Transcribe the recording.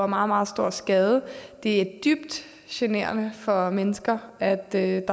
meget meget stor skade det er dybt generende for mennesker at der